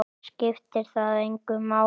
Skiptir það engu máli?